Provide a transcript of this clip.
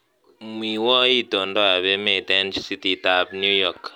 Mwiwo itondoab emet eng cititab New York